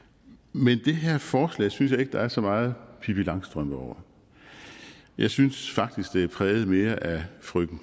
men det her forslag synes jeg ikke der er så meget pippi langstrømpe over jeg synes faktisk det er præget mere af frøken